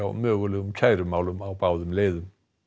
mögulegum kærumálum á báðum leiðum